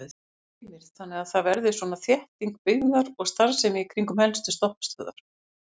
Heimir: Þannig að það verði svona þétting byggðar og starfsemi í kringum helstu stoppistöðvar?